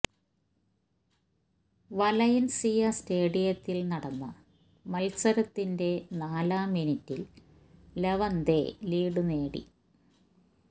Valencia സ്റ്റേഡിയത്തില് നടന്ന മത്സരത്തിന്റെ നാലാം മിനിറ്റില് ലെവന്തെ ലീഡ് നേടി